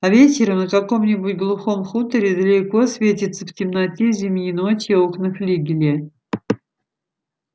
а вечером на каком-нибудь глухом хуторе далеко светятся в темноте зимней ночи окна флигеля